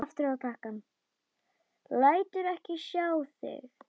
Lætur ekki sjá sig.